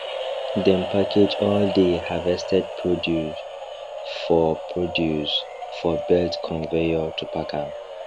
dem package all dey harvested produce for produce for belt conveyor to pack am